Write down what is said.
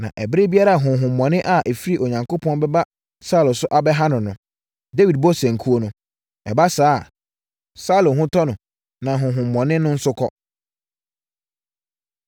Na ɛberɛ biara a honhommɔne a ɛfiri Onyankopɔn bɛba Saulo so abɛha no no, Dawid bɔ sankuo no. Ɛba saa a, Saulo ho tɔ no, na honhommɔne no nso kɔ.